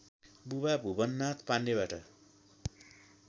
बुबा भुवननाथ पाण्डेबाट